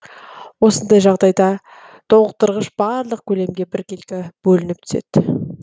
осындай жағдайда толықтырғыш барлық көлемге біркелкі бөлініп түседі